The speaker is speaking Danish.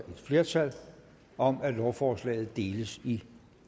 et flertal om at lovforslaget deles i